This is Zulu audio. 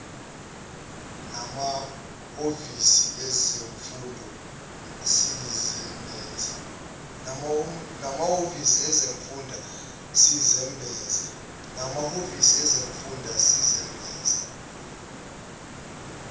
namahhovisi ezifunda sisebenza